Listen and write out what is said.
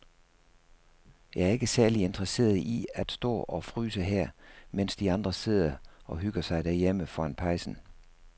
Jeg er ikke særlig interesseret i at stå og fryse her, mens de andre sidder og hygger sig derhjemme foran pejsen.